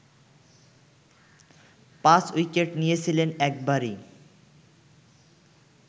পাঁচ উইকেট নিয়েছিলেন একবারই